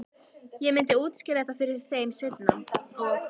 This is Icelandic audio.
Ég myndi útskýra þetta fyrir þeim seinna- og